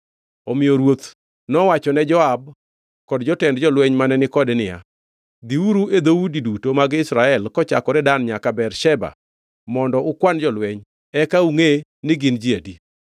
Omiyo ruoth nowachone Joab kod jotend jolweny mane ni kode niya, “Dhiuru e dhoudi duto mag Israel kochakore Dan nyaka Bersheba mondo ukwan jolweny, eka angʼe ni gin ji adi.”